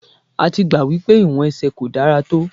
A ti gbà wípé ìwọ̀n ẹsẹ̀ kò dára tó.